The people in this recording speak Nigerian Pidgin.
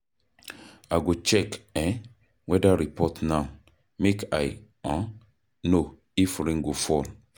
I go check weather report now, make I know if rain go fall.